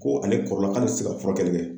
Ko ale kɔrɔla k'ale tɛ se ka furakɛli kɛ.